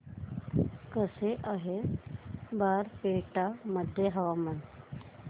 कसे आहे बारपेटा मध्ये हवामान